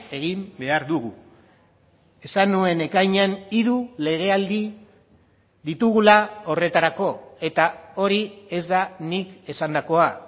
egin behar dugu esan nuen ekainean hiru legealdi ditugula horretarako eta hori ez da nik esandakoa